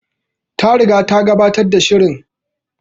Ta riga ta gabatar da shirin